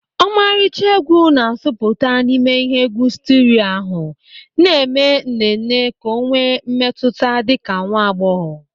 Ọmarịcha egwu na-asụputa n'ime ihe egwu sterio ahụ na-eme nnenne ka ọ enwe mmetụta dịka nwa agbọghọ.